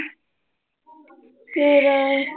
ਫਿਰ